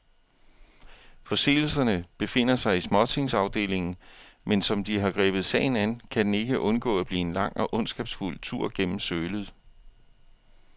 Forseelserne befinder sig i småtingsafdelingen, men som de har grebet sagen an, kan den ikke undgå at blive en lang og ondskabsfuld tur gennem sølet.